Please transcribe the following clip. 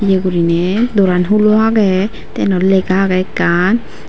yea guriney dooran hulo agey tey yenot lega agey ekkan.